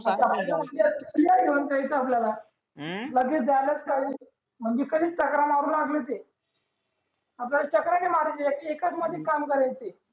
kia घेऊन जायच आपल्याला हम्म लगेच चकरा मारू लागला ते आपल्याला चकरा नई मारायचे एक एका मध्येच काम करायच